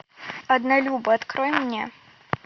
однолюбы открой мне